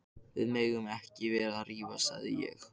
Við eigum ekki að vera að rífast sagði ég.